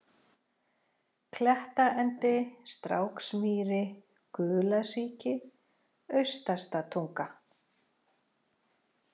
Klettaendi, Stráksmýri, Gulasíki, Austastatunga